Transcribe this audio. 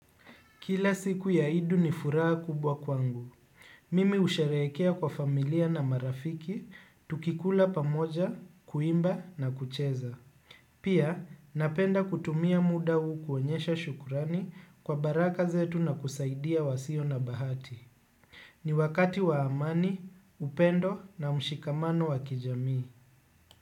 Kila siku ya idu ni furaha kubwa kwangu. Mimi husherehekea kwa familia na marafiki, tukikula pamoja, kuimba na kucheza. Pia, napenda kutumia muda huu kuonyesha shukrani kwa baraka zetu na kusaidia wasio na bahati. Ni wakati wa amani, upendo na mshikamano wa kijamii.